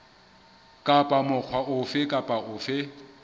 kapa mokga ofe kapa ofe